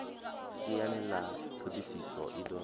siani ḽa ṱhodisiso i do